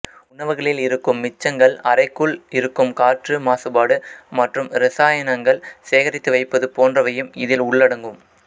உணவுகளில் இருக்கும் மிச்சங்கள் அறைக்குள் இருக்கும் காற்று மாசுபாடு மற்றும் இரசாயனங்கள் சேகரித்து வைப்பது போன்றவையும் இதில் உள்ளடங்கும்